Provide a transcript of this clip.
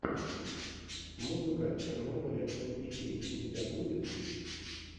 музыка чернобыля энпипи у тебя будет